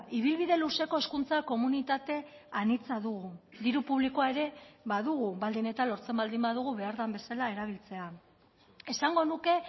ibilbide luzeko hezkuntza komunitate anitza dugu diru publikoa ere badugu baldin eta lortzen baldin badugu behar den bezala erabiltzea esango nuke